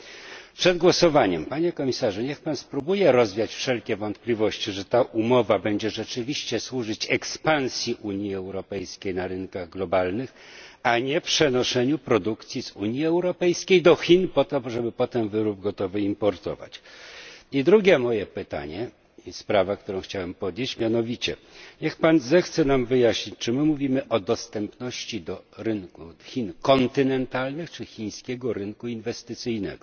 Panie komisarzu, przed głosowaniem niech pan spróbuje rozwiać wszelkie wątpliwości, że ta umowa będzie rzeczywiście służyć ekspansji Unii Europejskiej na rynkach globalnych, a nie przenoszeniu produkcji z Unii Europejskiej do Chin po to, aby potem importować gotowy wyrób. I drugie moje pytanie i sprawa, o której chciałbym wspomnieć niech pan zechce nam wyjaśnić, czy mówimy o dostępności do rynku Chin kontynentalnych czy chińskiego rynku inwestycyjnego?